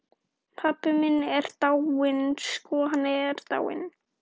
Pabbi minn er dáinn.